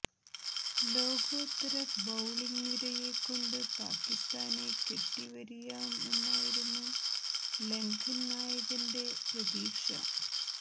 ലോകോത്തര ബൌളിംഗ് നിരയെ കൊണ്ട് പാകിസ്താനെ കെട്ടിവരിയാമെന്നായിരുന്നു ലങ്കന് നായകന്റെ പ്രതീക്ഷ